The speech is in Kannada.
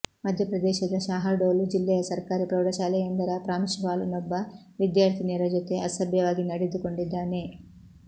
ಮಧ್ಯಪ್ರದೇಶದ ಶಾಹಡೋಲ್ ಜಿಲ್ಲೆಯ ಸರ್ಕಾರಿ ಪ್ರೌಢಶಾಲೆಯೊಂದರ ಪ್ರಾಂಶುಪಾಲನೊಬ್ಬ ವಿದ್ಯಾರ್ಥಿನಿಯರ ಜೊತೆ ಅಸಭ್ಯವಾಗಿ ನಡೆದುಕೊಂಡಿದ್ದಾನೆ